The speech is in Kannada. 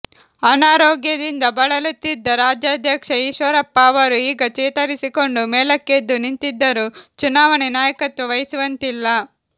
ಅನಾರೋಗ್ಯದಿಂದ ಬಳಲುತ್ತಿದ್ದ ರಾಜ್ಯಾಧ್ಯಕ್ಷ ಈಶ್ವರಪ್ಪ ಅವರು ಈಗ ಚೇತರಿಸಿಕೊಂಡು ಮೇಲಕ್ಕೆದ್ದು ನಿಂತಿದ್ದರೂ ಚುನಾವಣೆ ನಾಯಕತ್ವ ವಹಿಸುವಂತಿಲ್ಲ